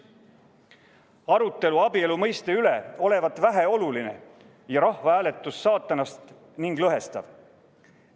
Arutelu abielu mõiste üle olevat väheoluline ja rahvahääletus saatanast ning lõhestav.